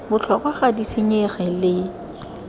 botlhokwa ga di senyege le